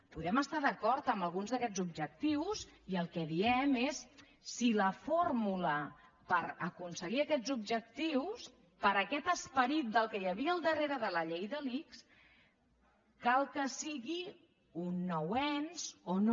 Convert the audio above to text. podem estar d’acord amb alguns d’aquests objectius i el que diem és si la fórmula per aconseguir aquests objectius per aquest esperit que hi havia al darrere de la llei de l’ics cal que sigui un nou ens o no